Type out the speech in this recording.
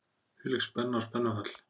Hvílík spenna og spennufall!